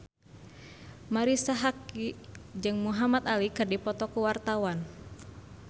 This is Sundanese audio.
Marisa Haque jeung Muhamad Ali keur dipoto ku wartawan